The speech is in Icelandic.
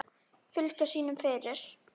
Fylgja sínum eftir.